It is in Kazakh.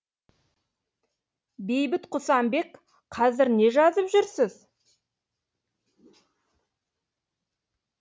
бейбіт құсанбек қазір не жазып жүрсіз